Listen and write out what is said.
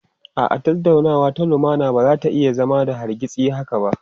A'a, tattaunawa ta lumana ba za ta iya zama da hargitsi haka ba.